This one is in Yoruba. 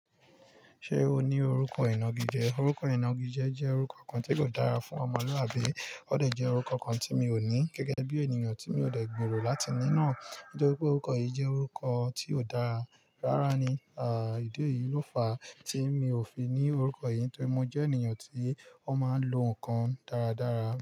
Ṣé o ní orúkọ inági jẹ? Orúkọ inági jẹ́ orúkọ kan tí kò dára fún ọmọlúàbí. Ó de jẹ́ orúkọ kan tí mi ò ní gẹ́gẹ́ bí ènìyàn tí mi ò dẹ̀ gbèrò láti ní náà. Nítorí pé orúkọ yìí jẹ́ orúkọ tí ó dára. Rárá ni, ìdí eyìi ló fa tí mi ò fi ní orúkọ yìí nítorí mo jẹ́ ènìyàn tí ó máa ń lo nǹkan dáradára.